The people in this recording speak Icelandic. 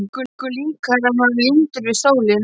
Það er engu líkara en hann sé límdur við stólinn.